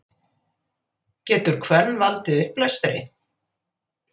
getur hvönn valdið uppblæstri